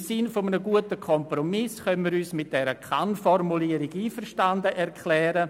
Im Sinne eines guten Kompromisses können wir uns mit der Kann-Formulierung einverstanden erklären.